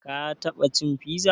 Ka taɓa cin fiza?